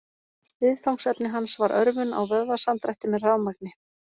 Viðfangsefni hans var örvun á vöðvasamdrætti með rafmagni.